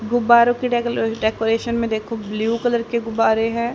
गुब्बारों की डेकोलेरे डेकोरेशन में देखो ब्लू कलर के गुब्बारें हैं।